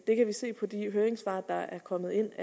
det kan vi se på de høringssvar der er kommet ind